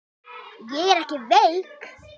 Ég er ekki veik.